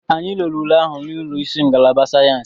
Anyị lere ule ahụ n'ụlọ isi ngalaba sayensị.